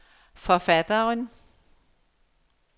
forfatteren